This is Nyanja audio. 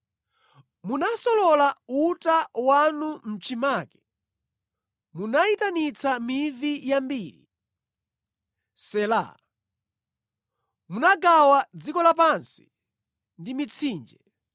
Munasolola uta wanu mʼchimake, munayitanitsa mivi yambiri. Sela Munagawa dziko lapansi ndi mitsinje;